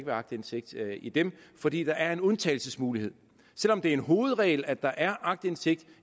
være aktindsigt i dem fordi der er en undtagelsesmulighed selv om det er en hovedregel at der er aktindsigt